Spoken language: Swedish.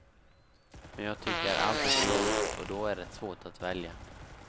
Men jag tycker allt är så roligt och då är det svårt att välja.